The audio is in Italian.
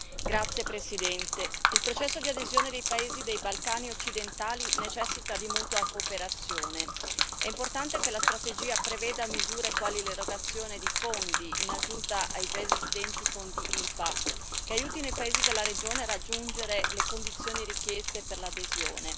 Signor Presidente, onorevoli colleghi, il processo di adesione dei paesi dei Balcani occidentali necessita di mutua cooperazione. È importante che la strategia preveda misure quali l'erogazione di fondi, in aggiunta ai già esistenti Fondi IPA, che aiutino i paesi della regione a raggiungere le condizioni richieste per l'adesione.